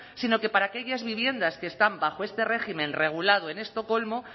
sino que para aquellas viviendas que están bajo este régimen regulado en estocolmo